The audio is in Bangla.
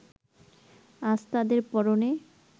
আজ তাদের পরনে